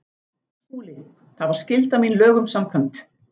SKÚLI: Það var skylda mín lögum samkvæmt.